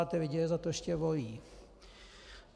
A ti lidé je za to ještě volí.